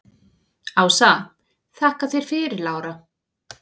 Ása: Þakka þér fyrir Lára.